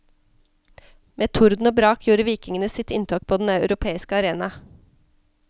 Med torden og brak gjorde vikingene sitt inntog på den europeiske arena.